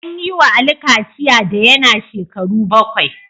An yi wa Ali kachiya da yana shekaru bakwai